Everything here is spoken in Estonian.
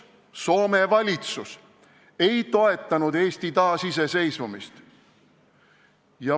Soome valitsus ei toetanud Eesti taasiseseisvumist.